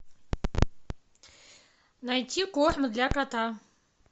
найти корм для кота